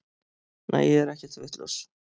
Nei ég er ekkert vitlaus.